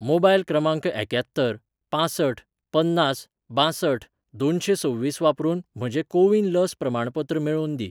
Mobile क्रमांक एक्यात्तर पांसठ पन्नास बांसठ दोनशें सव्वीस वापरून म्हजें कोविन लस प्रमाणपत्र मेळोवन दी.